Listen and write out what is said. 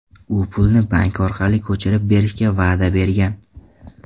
U pulni bank orqali ko‘chirib berishga va’da bergan.